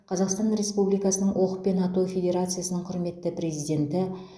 қазақстан республикасының оқпен ату федерациясының құрметті президенті